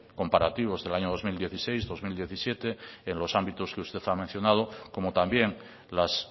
comparativos del año dos mil dieciséis dos mil diecisiete en los ámbitos que usted ha mencionado como también las